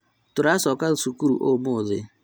Tũracoka cukuru ũmũthĩ